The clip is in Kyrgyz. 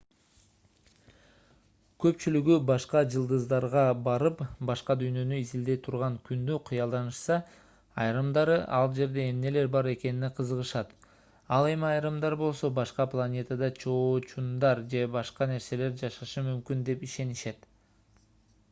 көпчүлүгү башка жылдыздарга барып башка дүйнөнү изилдей турган күндү кыялданышса айрымдары ал жерде эмнелер бар экенине кызыгышат ал эми айрымдар болсо башка планетада чоочундар же башка нерселер жашашы мүмкүн деп ишенишет